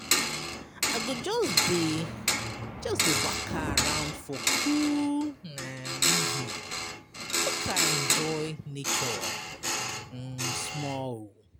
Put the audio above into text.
I go just dey just dey waka around for cool um evening make I enjoy nature um small.